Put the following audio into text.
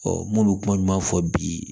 n m'olu kuma fɔ bi